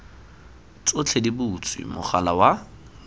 tsotlhe di butswe mogala wa